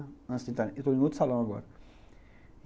Eu estou em outro salão agora.